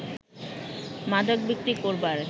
মাদক বিক্রি করবার